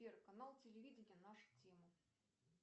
сбер канал телевидения наша тема